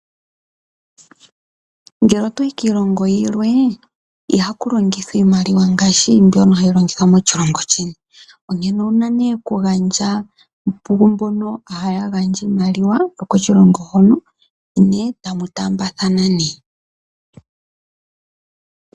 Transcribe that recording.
Ngele oto yi kiilongo yilwe, ihaku longithwa iimaliwa ngaashi mbyono hayi longithwa moshilongo sheni , onkene owuna okugandja kumbono haya gandja iimaliwa yokoshilongo hono , ne etamu taambathana.